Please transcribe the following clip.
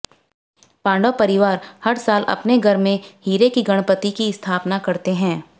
पांडव परिवार हर साल अपने घर में हीरे की गणपति की स्थापना करते हैं